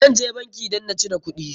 Zan je bankin dan na cire kuɗin.